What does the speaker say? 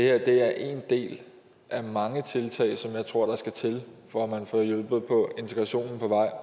er ét af af mange tiltag som jeg tror der skal til for at man får hjulpet integrationen på vej